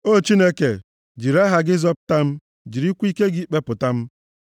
O Chineke, jiri aha gị zọpụta m; jirikwa ike gị kpepụta m.